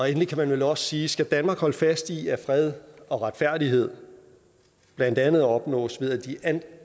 endelig kan man vel også sige skal danmark holde fast i at fred og retfærdighed blandt andet opnås ved at